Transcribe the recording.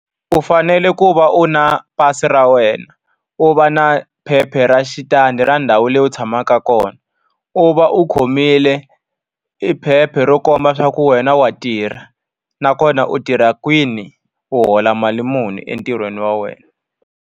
U fanele ku va u ri na pasi ra wena, u va ri na phepha ra xitandi ra ndhawu leyi u tshamaka kona. U va u khomile e phepha ro komba leswaku wena wa tirha nakona u tirha kwini, u hola mali muni entirhweni wa wena.